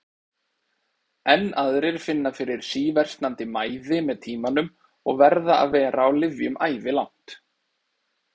Enn aðrir finna fyrir síversnandi mæði með tímanum og verða að vera á lyfjum ævilangt.